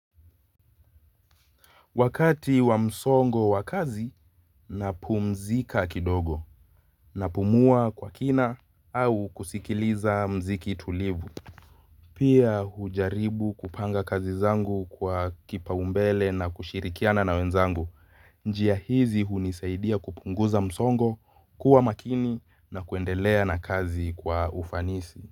Wakati wa msongo wa kazi, napumzika kidogo. Napumua kwa kina au kusikiliza mziki tulivu. Pia hujaribu kupanga kazi zangu kwa kipaumbele na kushirikiana na wenzangu. Njia hizi hunisaidia kupunguza msongo, kuwa makini na kuendelea na kazi kwa ufanisi.